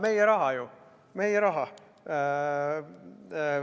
Meie raha ju, meie raha.